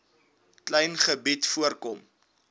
klein gebied voorkom